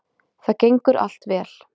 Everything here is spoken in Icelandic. Það gengur allt vel